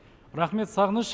рахмет сағыныш